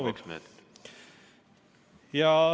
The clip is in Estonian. Palun, kaks minutit!